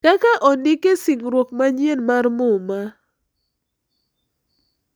Kaka ondik e Singruok Manyien mar Muma.